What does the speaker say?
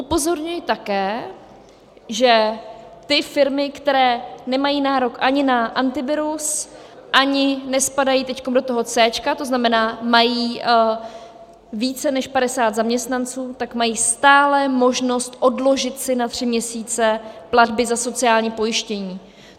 Upozorňuji také, že ty firmy, které nemají nárok ani na Antivirus, ani nespadají teď do toho C, to znamená, mají více než 50 zaměstnanců, tak mají stále možnost odložit si na tři měsíce platby na sociální pojištění.